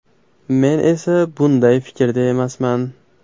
Men esa bunday fikrda emasman.